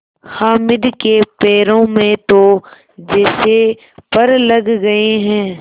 हामिद के पैरों में तो जैसे पर लग गए हैं